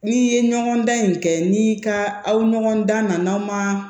N'i ye ɲɔgɔndan in kɛ ni ka aw ɲɔgɔn dan na anw ma